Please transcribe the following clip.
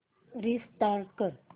restart कर